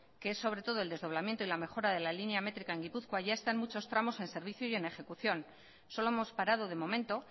que es sobre todo el desdoblamiento y la mejora de la línea métrica en gipuzkoa ya está en muchos tramos en servicio y en ejecución solo hemos parado de momento